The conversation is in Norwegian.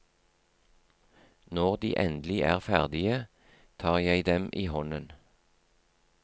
Når de endelig er ferdige, tar jeg dem i hånden.